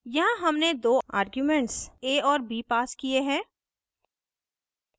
यहाँ हमने दो आर्ग्यूमेंट्स a और b passed किये हैं